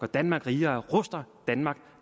danmark rigere ruster danmark